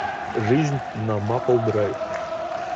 жизнь на мапл драйв